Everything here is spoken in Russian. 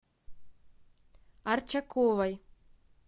арчаковой